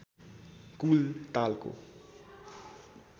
कुल तालको